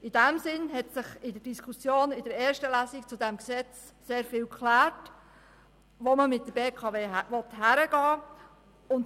In diesem Sinn hat sich in der Diskussion während der ersten Lesung zu diesem Gesetz sehr viel bezüglich der Frage geklärt, wohin man mit der BKW gehen will.